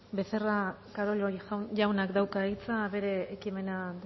becerra carollo jaunak dauka hitza bere ekimena